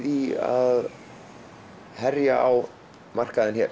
í að herja á markaðinn hér